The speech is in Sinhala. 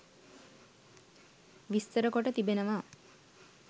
විස්තර කොට තිබෙනවා.